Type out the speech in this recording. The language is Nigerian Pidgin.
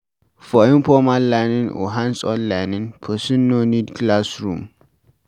For informal learning or hands-on learning, person no need classroom